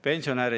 Hea juhataja!